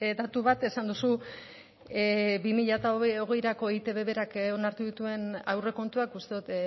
datu bat esan duzu bi mila hogeirako eitb berak onartu dituen aurrekontuak uste dut